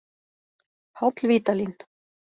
Páll Vídalín.